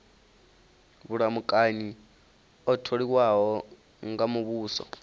vhulamukanyi o tholiwaho nga muvhuso